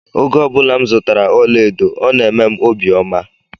Oge obula m zụtara ọla edo ọ na emem obi ọma.